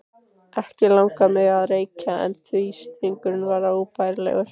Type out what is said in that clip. Ekki langaði mig að reykja en þrýstingurinn var óbærilegur.